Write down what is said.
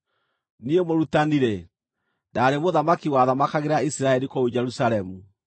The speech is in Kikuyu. Niĩ Mũrutani-rĩ, ndaarĩ mũthamaki wathamakagĩra Isiraeli kũu Jerusalemu.